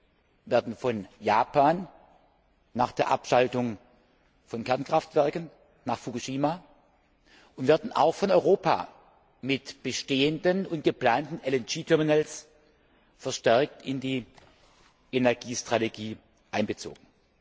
Sie werden von Japan nach der Abschaltung von Kernkraftwerken nach Fukushima und auch von Europa mit bestehenden und geplanten LNG Terminals verstärkt in die Energiestrategie einbezogen.